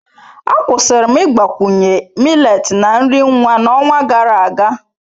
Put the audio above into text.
Akwụsịrị m ịgbakwunye millet na nri nwa n'ọnwa gara aga.